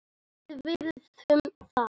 Við virðum það.